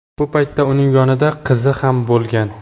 Bu payt uning yonida qizi ham bo‘lgan.